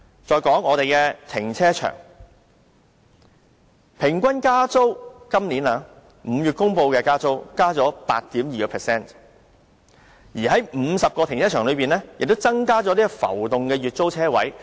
再說停車場，今年5月公布的平均租金增幅為 8.2%， 而在50個停車場中亦增加浮動的月租車位。